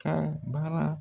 ka baara.